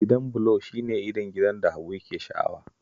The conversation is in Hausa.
Gidan bulo shi ne irin gidan da Habu yake sha'awa